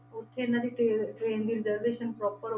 ਉੱਥੇ ਇਹਨਾਂ ਦੀ ਟਰੇ~ train ਦੀ reservation proper